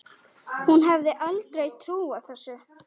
Hún hefði aldrei trúað þessu.